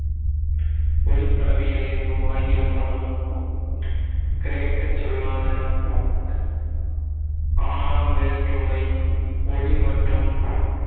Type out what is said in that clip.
ஒளிப்படவியல் எனும் ஆங்கிலப் பதம் கிரேக்கச் சொல்லான இன் ஆறாம் வேற்றுமை ஒளி மற்றும்